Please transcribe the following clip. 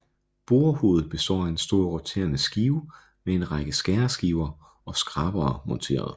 Borehovedet består af en stor roterende skive med en række skæreskiver og skrabere monteret